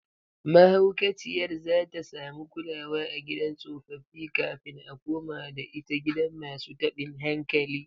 Mahaukaciyar zata samu kulawa a gidan tsofaffi kafin a komada ita gidan masu tabin hankali